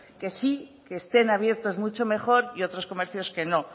que sí que estén abiertos mucho mejor y otros comercios que no